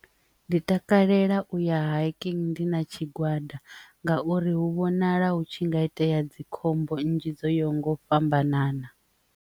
Ndi takalela uya haikini ndi na tshigwada ngauri hu vhonala hu tshi nga itea dzikhombo nnzhi dzo yo nga u fhambanana.